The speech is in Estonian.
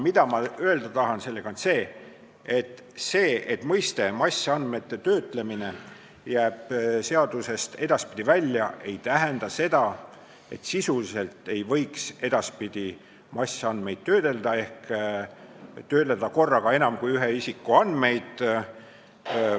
Ma tahan öelda, et see, kui mõiste "massandmete töötlemine" jääb seadusest edaspidi välja, ei tähenda seda, et sisuliselt ei võiks edaspidi töödelda massandmeid ehk töödelda korraga enam kui ühe isiku andmeid.